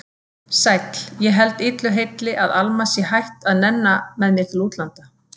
Sæll, ég held illu heilli að Alma sé hætt að nenna með mér til útlanda.